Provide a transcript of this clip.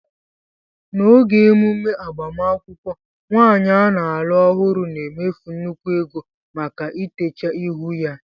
N'oge emume agbamakwụkwọ, nwaanyị a na-alụ ọhụrụ na-emefu nnukwu ego maka itecha ihu ya